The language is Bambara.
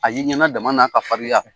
A ye n ɲɛna dama ka farinya